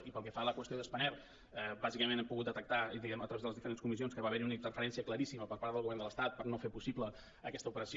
i pel que fa a la qüestió de spanair bàsicament hem pogut detectar a través de les diferents comissions que va haver hi una interferència claríssima per part del govern de l’estat per no fer possible aquesta operació